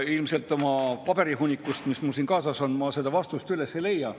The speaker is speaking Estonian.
Sellest paberihunnikust, mis mul siin kaasas on, ma seda vastust ilmselt üles ei leia.